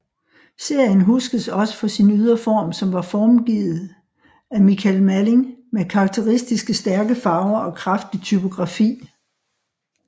Serien huskes også for sin ydre form som var forgivet af Michael Malling med karakteristiske stærke farver og kraftig typografi